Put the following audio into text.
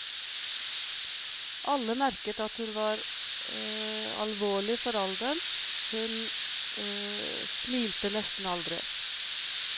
Alle merket at hun var alvorlig for alderen, hun smilte nesten aldri.